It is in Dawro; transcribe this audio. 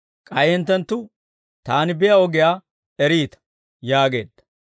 K'ay hinttenttu Taani biyaa ogiyaa eriita» yaageedda.